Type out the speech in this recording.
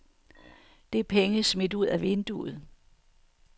Det er penge smidt ud af vinduet.